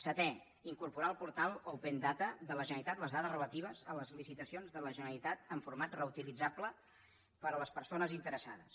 setè incorporar al portal open data de la generalitat les dades relatives a les licitacions de la generalitat en format reutilitzable per a les persones interessades